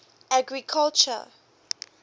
agriculture